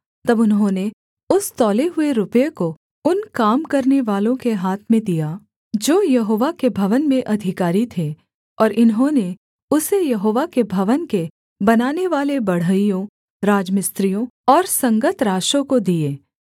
तब उन्होंने उस तौले हुए रुपये को उन काम करानेवालों के हाथ में दिया जो यहोवा के भवन में अधिकारी थे और इन्होंने उसे यहोवा के भवन के बनानेवाले बढ़इयों राजमिस्त्रियों और संगतराशों को दिये